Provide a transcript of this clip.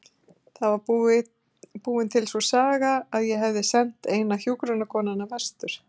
Það var búin til sú saga að ég hefði sent eina hjúkrunarkonuna vestur.